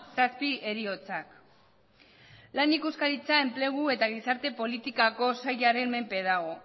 zazpi heriotzak lan ikuskaritza enplegu eta gizarte politikako sailaren menpe dago